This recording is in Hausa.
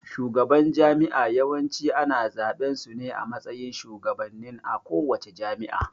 Shugaban jami'a Yawanci ana zaɓan sune a matsayin shugabannen a kowace jami'a